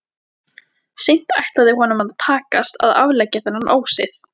Seint ætlaði honum að takast að afleggja þennan ósið.